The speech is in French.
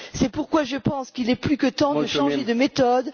C'est pourquoi je pense qu'il est plus que temps de changer de méthode.